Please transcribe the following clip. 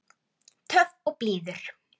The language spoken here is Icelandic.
Töff og blíður.